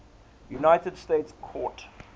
united states court